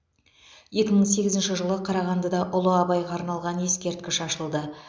екі мың сегізінші жылы қарағандыда ұлы абайға арналған ескерткіш ашылды